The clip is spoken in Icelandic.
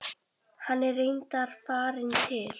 Hann er reyndar farinn til